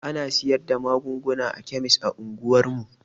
Ana sayar da magunguna a kemis a unguwar mu.